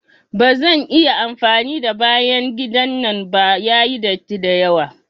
Ba zan iya amfani da bayan gidan nan ba, yayi datti dayawa.